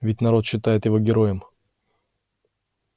весь народ считает его героем